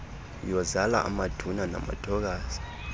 yozala amaduna namathokazi